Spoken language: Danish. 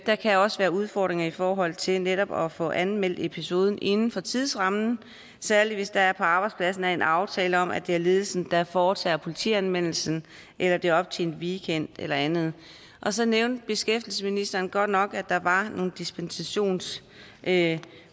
der kan også være udfordringer i forhold til netop at få anmeldt episoden inden for tidsrammen særlig hvis der på arbejdspladsen er en aftale om at det er ledelsen der foretager politianmeldelsen eller at det er op til en weekend eller andet så nævnte beskæftigelsesministeren godt nok at der var nogle dispensationsmuligheder